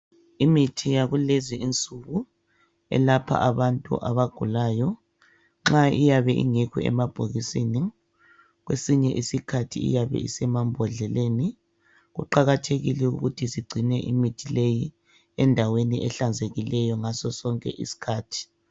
Imithi yakulezi insuku yokuyelapha abantu abagulayo eyinye iyabe ingekho emabhokisini kwesinye isikhathi iyabe isemambodleleni kuqakathekile singcine imithi leyi endaweni ehlanzekileyo ngaso sonke isikhathi